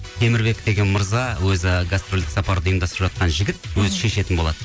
темірбек деген мырза өзі гастрольдік сапарды ұйымдастырып жатқан жігіт өзі шешетін болады